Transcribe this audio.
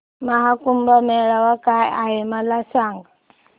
महा कुंभ मेळा काय आहे मला सांग